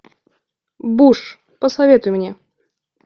буш посоветуй мне